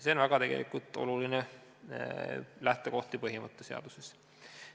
" See on tegelikult väga oluline lähtekoht ja põhimõte seaduses.